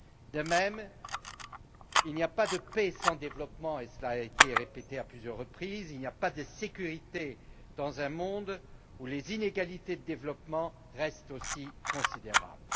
De même qu'il n'y a pas de paix sans développement et cela a été répété à plusieurs reprises il n'y a pas de sécurité dans un monde où les inégalités en termes de développement restent aussi considérables.